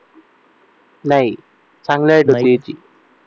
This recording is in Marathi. नाही चांगली हाईट त्या मुलीची